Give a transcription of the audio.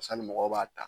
mɔgɔw b'a ta